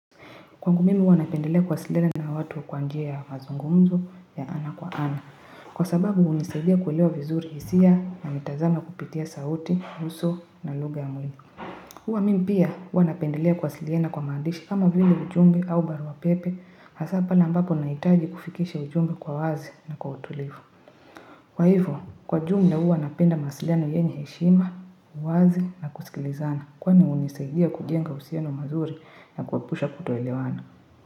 Kwangu mimi huwa napendelea kuwasiliana na watu kwa njia ya mazungumzo ya ana kwa ana. Kwa sababu hunisaidia kuelewa vizuri hisia na mitazama kupitia sauti, uso na lugha ya mwili. Hua mimi pia hua napendelea kuwasiliana kwa maandishi kama vile ujumbe, au barua pepe. Hasa pale ambapo nahitaji kufikisha ujumbe kwa wazi na kwa utulivu. Kwa hivo, kwa ujumla huwa napenda mawasiliano yenye heshima, uwazi na kusikilizana. Kwani hunisaidia kujenga uhusiano mazuri na kuepusha kutoelewana.